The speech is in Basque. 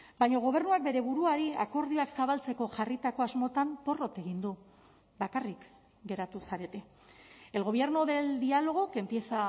baina gobernuak bere buruari akordioak zabaltzeko jarritako asmotan porrot egin du bakarrik geratu zarete el gobierno del diálogo que empieza